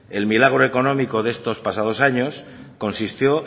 el milagro económico de estos pasados años consistió